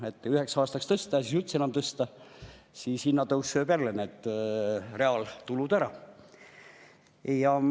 Üheks aastaks tõsta ja siis üldse enam mitte tõsta – hinnatõus sööb jälle reaaltulud ära.